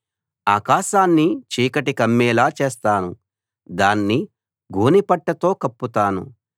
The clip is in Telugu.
ఆకాశాన్ని చీకటి కమ్మేలా చేస్తాను దాన్ని గోనెపట్టతో కప్పుతాను